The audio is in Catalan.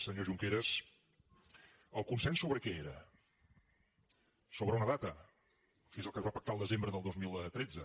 senyor junqueras el consens sobre què era sobre una data que és el que es va pactar al desembre del dos mil tretze